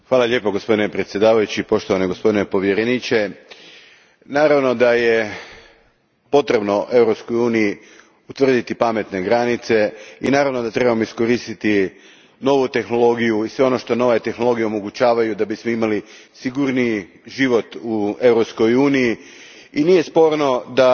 Gospodine predsjedniče, naravno da je potrebno Europskoj uniji utvrditi pametne granice i naravno da trebamo iskoristiti novu tehnologiju i sve ono što nove tehnologije omogućavaju da bismo imali sigurniji život u Europskoj uniji i nije sporno da